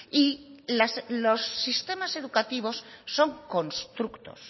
y los sistemas educativos son constructos